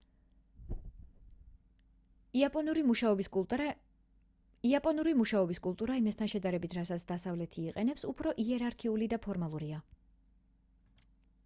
იაპონური მუშაობის კულტურა იმასთან შედარებით რასაც დასავლეთი იყენებს უფრო იერარქიული და ფორმალურია